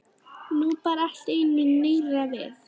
Nú bar allt í einu nýrra við.